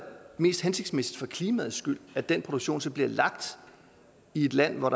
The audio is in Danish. mest hensigtsmæssigt for klimaets skyld at den produktion så bliver lagt i et land hvor